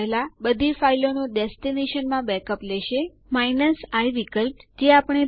હવે આપણે યુઝરો ની માત્ર ઇડ જ જોઈ શકીએ છીએ